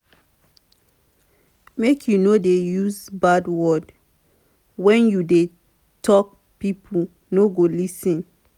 make you no dey use bad words wen you dey tok pipo no go lis ten.